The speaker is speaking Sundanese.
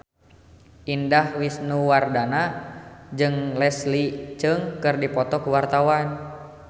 Indah Wisnuwardana jeung Leslie Cheung keur dipoto ku wartawan